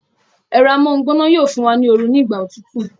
Ẹ̀rọ amóhungbóná yóò fún wa ní oru ní ìgbà òtútù